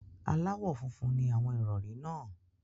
Aláwọ̀ funfun ni àwọn ìrọ̀rí náà.